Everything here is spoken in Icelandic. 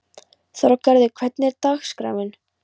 Þorgarður, hvernig er dagskráin?